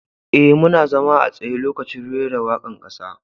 E,muna zama a tsaye lokacin reran waka'n kasa.